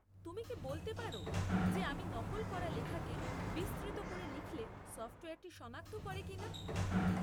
তুমি কি বলতে পার যে আমি নকল করা লেখাকে বিস্তৃত করে লিখলে সফ্টওয়্যারটি, শনাক্ত করে কিনা?